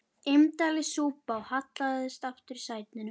Indælis súpa og hallaðist aftur í sætinu.